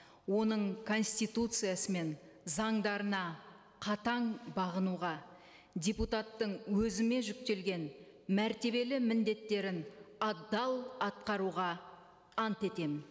оның конституциясы мен заңдарына қатаң бағынуға депутаттың өзіме жүктелген мәртебелі міндеттерін адал атқаруға ант етемін